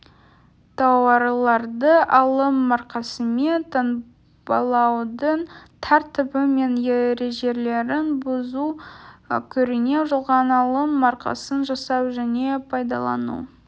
тауарларды алым маркасымен таңбалаудың тәртібі мен ережелерін бұзу көрінеу жалған алым маркасын жасау және пайдалану